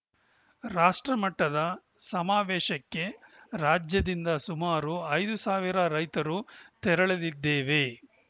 ರಾಷ್ಟ್ರ ಮಟ್ಟದ ಸಮಾವೇಶಕ್ಕೆ ರಾಜ್ಯದಿಂದ ಸುಮಾರು ಐದು ಸಾವಿರ ರೈತರು ತೆರಳಲಿದ್ದೇವೆ